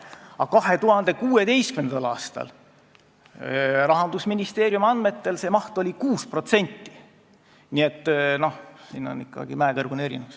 Aga 2016. aastal oli see maht Rahandusministeeriumi andmetel 6%, nii et siin on ikkagi mäekõrgune erinevus.